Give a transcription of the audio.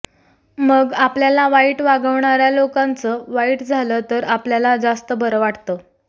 मग आपल्याला वाईट वागवणाऱ्या लोकांचं वाईट झालं तर आपल्याला जास्त बरं वाटतं